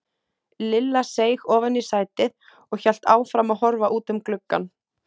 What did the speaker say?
Lilla seig ofan í sætið og hélt áfram að horfa út um gluggann.